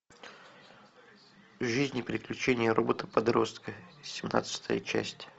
жизнь и приключения робота подростка семнадцатая часть